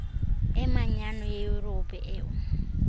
emanyano yeyurophu eu